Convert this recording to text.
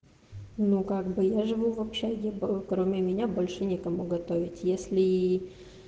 ну как бы я живу в общаге бы кроме меня больше некому готовить если